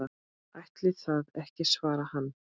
Ætli það ekki svarar hann.